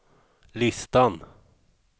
listan